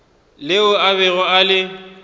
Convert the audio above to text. leo a bego a le